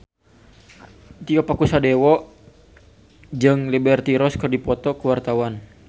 Tio Pakusadewo jeung Liberty Ross keur dipoto ku wartawan